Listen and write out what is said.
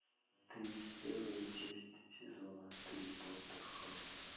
тридцать первая часть сезона три доктор хаус